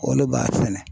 O de b'a sɛnɛ